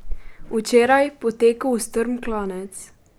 Včeraj, po teku v strm klanec.